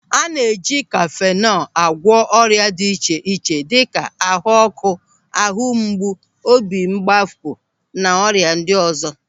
A na e ji kafenol a gwọ ọrịa dị iche iche dịka ahuọ́kụ́, ahumgbu, obi mmapụ na ọrịa ndị ọzọ.